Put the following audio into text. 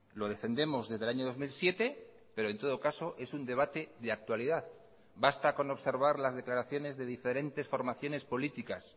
lo defendemos desde el año dos mil siete pero en todo caso es un debate de actualidad basta con observar las declaraciones de diferentes formaciones políticas